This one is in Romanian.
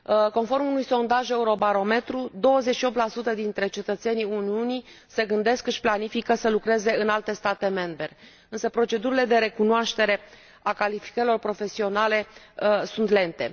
Conform unui sondaj Eurobarometru, 28 dintre cetățenii Uniunii se gândesc și își planifică să lucreze în alte state membre, însă procedurile de recunoaștere a calificărilor profesionale sunt lente.